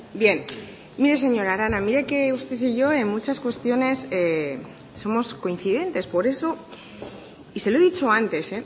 bien mire señora arana mire que usted y yo en muchas cuestiones somos coincidentes por eso y se lo he dicho antes